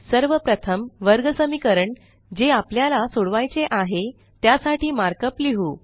सर्व प्रथम वर्गसमीकरण जे आपल्याला सोडवायचे आहे त्यासाठी मार्कअप लिहु